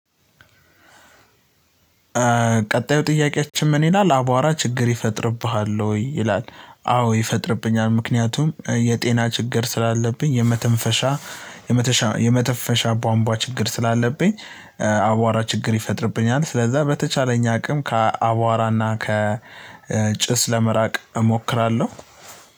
ቀጣዩ ጥያቄያችን ምን ይላል አቧራ ችግር ይፈጥርብሃል ወይ? ይላል አዎ ይፈጥርብኛል ምክንያቱም የጤና ችግር ስላለብኝ የመተንፈሻ የመተፈሻ የመተፈሻ ባምቧ ችግር ስላለብኝ አቧራ ችግር ይፈጥርብኛል ስለዛ በተቻለኝ አቅም ከአቧራ እና ከጭስ ለመራቅ እሞክራለሁ።